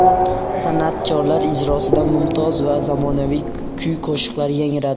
San’atkorlar ijrosida mumtoz va zamonaviy kuy-qo‘shiqlar yangradi.